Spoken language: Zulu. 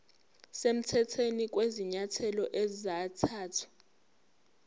semthethweni kwezinyathelo ezathathwa